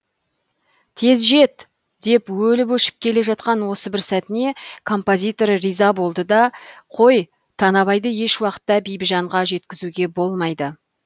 тез жет деп өліп өшіп келе жатқан осы бір сәтіне композитор риза болды да қой танабайды еш уақытта бибіжанға жеткізуге болмайды